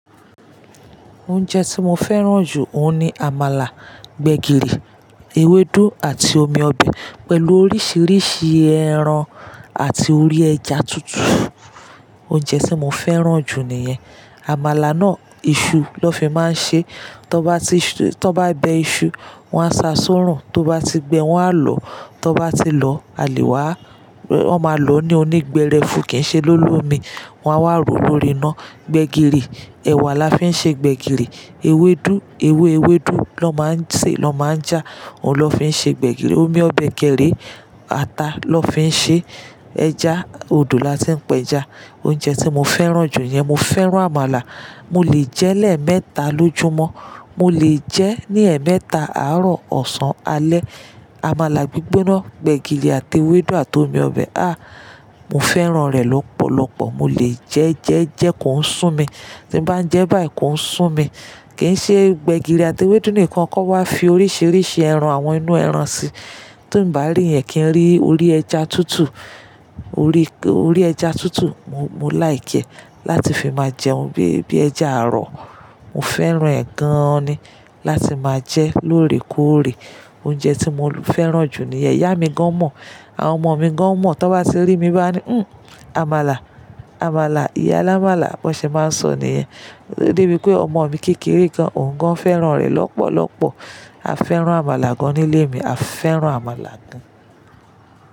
Oúnjẹ tí mo fẹ́ràn jù, òun ni àmàlà, gbẹ̀gìrì, ewédú àti omi ọbẹ̀ pẹ̀lú oríṣiríṣi ẹran àti orí ẹja tútù. Oúnjẹ tí mo fẹ́ràn jù nìyẹn. Àmàlà náà, iṣu ló fi máa ń ṣe. Tó bá tó bá bẹ iṣu, wọ́n á sa sórùn. Tó bá ti gbẹ, wọ́n á lọ. Tó bá ti lọ, a lè wá. Wọ́n máa lò ó ní onígbẹ̀rẹ̀fù kí n ṣe lólómi. Wọ́n á wá roo lórí iná. Gbẹ̀gìrì, ẹ̀wà la fi ń ṣe gbẹ̀gìrì. Ewédú, ewé ewédú ló máa ń ṣe, ló máa ń já. Òun ló fi ń ṣe gbẹ̀gìrì. Omi ọbẹ̀ kẹ́rẹ̀, ata ló fi ń ṣe. Ẹja, odò la ti ń pẹ ẹja. Oúnjẹ tí mo fẹ́ràn jù yẹn. Mo fẹ́ràn àmàlà. Mo lè jẹ ẹ́ lẹ́ẹ̀mẹta lójúmọ́. Mo lè jẹ ẹ́ ní ẹ̀ẹ́mẹta, àárọ̀, ọ̀sán, alẹ́. Àmàlà gbígbóná, gbẹ̀gìrì àti ewédú àti omi ọbẹ̀, a! Mo fẹ́ràn rẹ̀ lọ́pọ̀lọpọ̀. Mo lè jẹ jẹ́ jẹ kò ń sún mi. Tí n bá ń jẹ báyìí kò ń sún mi. Kì n ṣe gbẹ̀gìrì àti ewédú nìkan, kọ́ wa fi oríṣiríṣi ẹran, àwọn inú ẹran sí. Ti n bá rí yẹn kí n rí orí ẹja tútù. Orí, orí ẹja tútù, mo, mo lìkẹ́ ẹ. Láti fi máa jẹun bí i, bí i ẹja àárọ̀. Mo fẹ́ràn ẹ̀ gaan ni láti máa jẹ lóòrè kóòrè. Oúnjẹ tí mo fẹ́ràn jù nìyẹn. Ìyá mi gan mọ̀, àwọn ọmọ mi gan mọ̀. Tó bá ti rí mi, bá ní, "Uhm, àmàlà, àmàlà. Iyáálámàlà." Bọ́ ṣe máa ń sọ nìyẹn. De bi pé ọmọ mi kékeré gan òun gan fẹ́ràn rẹ̀ lọ́pọ̀lọpọ̀. A fẹ́ràn àmàlà gan nílé mi. A fẹ́ràn àmàlà gan.